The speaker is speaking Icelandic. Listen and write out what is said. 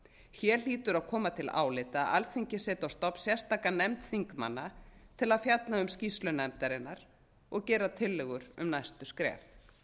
hér hlýtur að koma til álita að alþingi setji á stofn sérstaka nefnd þingmanna til að fjalla um skýrslu nefndarinnar og gera tillögur um næstu skref